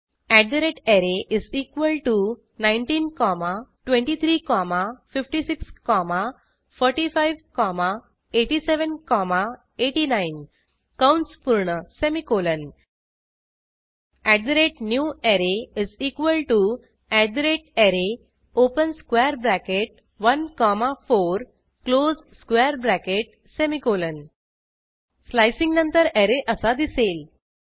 array 19 comma 23 comma 56 comma 45 comma 87 comma 89 कंस पूर्ण semicolon newArray array open square bracket 1 comma 4 close square bracket semicolon 000838 000837 slicing नंतर array असा दिसेल